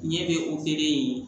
Ɲɛ bɛ yen